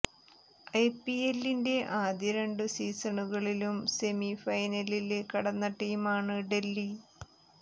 ഐപിഎല്ലിന്റെ ആദ്യ രണ്ടു സീസണുകളിലും സെമി ഫൈനലില് കടന്ന ടീമാണ് ഡല്ഹി